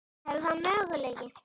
Er það möguleiki?